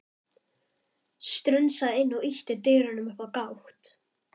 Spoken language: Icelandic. Strunsaði inn og ýtti dyrunum upp á gátt.